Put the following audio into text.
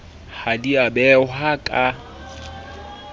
ha di a behwa ka